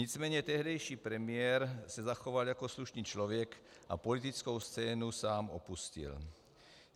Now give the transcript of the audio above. Nicméně tehdejší premiér se zachoval jako slušný člověk a politickou scénu sám opustil.